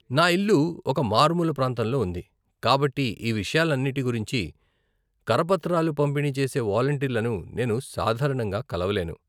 నా ఇల్లు ఒక మారుమూల ప్రాంతంలో ఉంది, కాబట్టి ఈ విషయాలన్నిటి గురించి కరపత్రాలు పంపిణీ చేసే వాలంటీర్లను నేను సాధారణంగా కలవలేను.